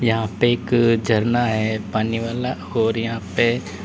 यहां पे एक झरना है पानी वाला और यहां पे--